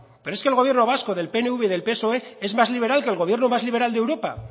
pero es que el gobierno vasco del pnv y del psoe es más liberal que el gobierno más liberal de europa